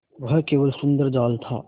वह केवल सुंदर जाल था